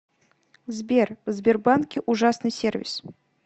сбер в сбербанке ужасный сервис